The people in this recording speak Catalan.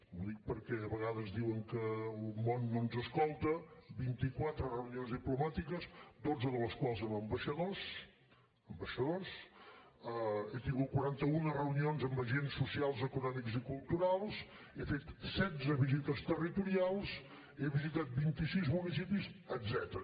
ho dic perquè de vegades diuen que el món no ens escolta vint quatre reunions diplomàtiques dotze de les quals amb ambaixadors ambaixadors he tingut quaranta un reunions amb agents socials econòmics i culturals he fet setze visites territorials he visitat vint sis municipis etcètera